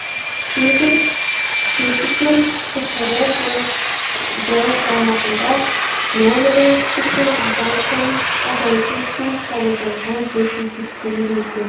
кейбір скептиктер қхр бұл заң баяғыда нормадан асып кеткен адам санын азайту үшін қабылданған деп есептейді екен